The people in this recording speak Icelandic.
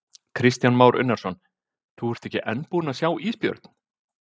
Kristján Már Unnarsson: Þú ert ekki enn búinn að sjá ísbjörn?